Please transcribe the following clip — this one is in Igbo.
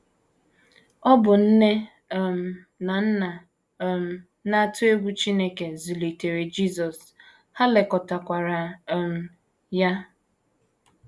Ọ bụ nne um na nna um na - atụ egwu Chineke zụlitere Jisọs, ha lekọtakwara um ya.